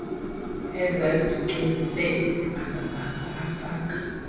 ezazigcwelise isibhakabhaka afaka